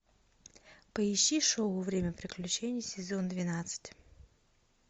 поищи шоу время приключений сезон двенадцать